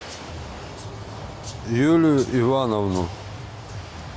юлию ивановну